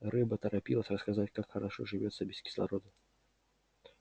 рыба торопилась рассказать как хорошо живётся без кислорода